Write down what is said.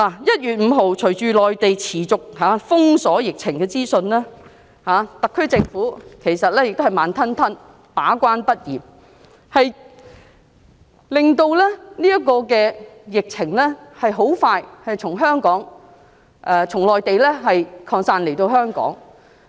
1月5日，隨着內地持續封鎖疫情資訊，特區政府仍然慢條斯理，把關不嚴，致令疫情很快便從內地擴散到香港。